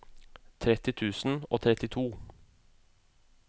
tretti tusen og trettito